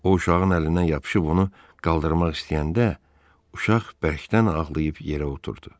O, uşağın əlindən yapışıb onu qaldırmaq istəyəndə, uşaq bərkdən ağlayıb yerə oturdu.